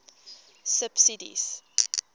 subsidies